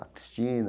A Cristina.